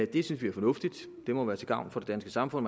det synes vi er fornuftigt det må være til gavn for det danske samfund